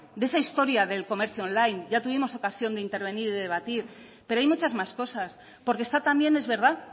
de esa historia del comercio online ya tuvimos ocasión de intervenir y de debatir pero hay muchas más cosas porque está también es verdad